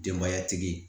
Denbayatigi